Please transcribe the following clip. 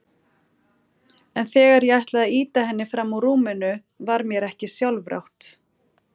En þegar ég ætlaði að ýta henni fram úr rúminu var mér ekki sjálfrátt.